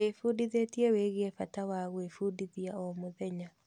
Ndĩbundithĩtie wĩgiĩ bata wa gwĩbundithia o mũthenya.